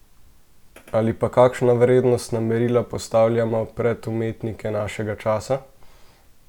Ali pa, kakšna vrednostna merila postavljamo pred umetnike našega časa?